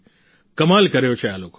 કમાલ કર્યો છે આ લોકોએ